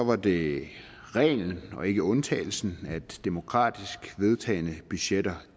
var det reglen og ikke undtagelsen at demokratisk vedtagne budgetter